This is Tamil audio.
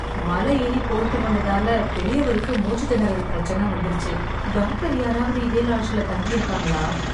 மலை ஏறி போய்ட்டு வந்ததால, பெரியவருக்கு மூச்சுத் திணறல் பிரச்சன வந்துருச்சு... டாக்டர் யாராவது இதே லாட்ஜ்ல தங்கி இருக்காங்களா?